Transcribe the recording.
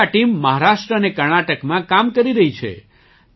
આજે આ ટીમ મહારાષ્ટ્ર અને કર્ણાટકમાં કામ કરી રહી છે